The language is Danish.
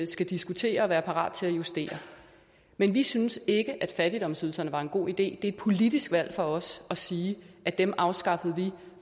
skal diskutere og være parat til at justere men vi synes ikke fattigdomsydelserne var en god idé det er et politisk valg for os at sige at dem afskaffede vi